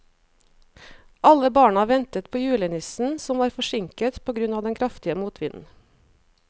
Alle barna ventet på julenissen, som var forsinket på grunn av den kraftige motvinden.